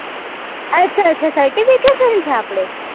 અચ્છા અચ્છા certifications છે આપડે